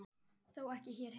Þó ekki hér heima.